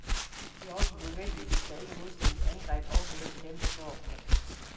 Det er jo også nødvendigt, hvis da ikke modstandernes angreb også hører til dem der står godt.